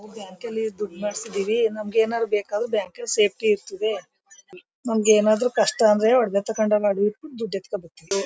ಬ್ಯಾಂಕಲ್ಲಿ ದುಡ್ಡು ಮಾಡ್ಸಿದೀವಿ ನಮಗೆ ಏನಾದ್ರು ಬೇಕಾದ್ರೆ ಬ್ಯಾಂಕಲ್ಲಿ ಸೇಫ್ಟಿ ಇರ್ತದೆ ನಮಗೆ ಏನಾದ್ರು ಕಷ್ಟ ಬಂದ್ರೆ ಒಡವೆ ಇಟ್ಟು ದುಡ್ಡ್ ತಾಕೋಬರ್ತಿವಿ.